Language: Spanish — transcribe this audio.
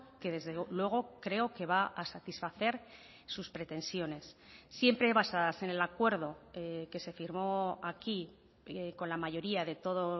que desde luego creo que va a satisfacer sus pretensiones siempre basadas en el acuerdo que se firmó aquí con la mayoría de todo